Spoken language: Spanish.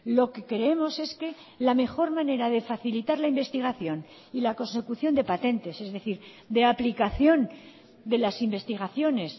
lo que creemos es que la mejor manera de facilitar la investigación y la consecución de patentes es decir de aplicación de las investigaciones